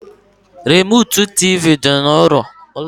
Remụtụ tịvị dị n’ụlọ